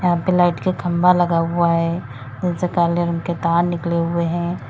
यहां पे लाइट का खंभा लगा हुआ है जिनसे काले रंग के तार निकले हुए हैं।